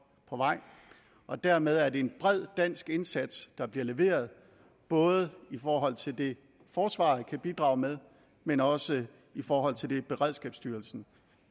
på vej dermed er det en bred dansk indsats der bliver leveret både i forhold til det forsvaret kan bidrage med men også i forhold til det beredskabsstyrelsen